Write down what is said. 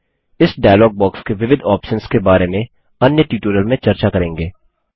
इस dialog box के विविध ऑप्शन्स के बारे में अन्य ट्यूटोरियल में चर्चा करेंगे